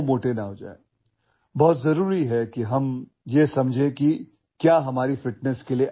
आपल्या तंदुरुस्तीसाठी काय चांगलं आहे काय वाईट आहे हे आपण समजून घेणे अत्यंत गरजेचे आहे